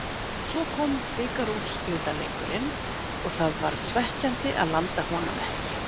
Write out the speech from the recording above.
Svo kom bikarúrslitaleikurinn og það var svekkjandi að landa honum ekki.